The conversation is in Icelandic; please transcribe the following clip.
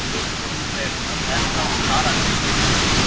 Ég er alveg að detta úr karakter hérna.